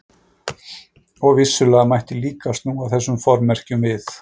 Og vissulega mætti líka snúa þessum formerkjum við.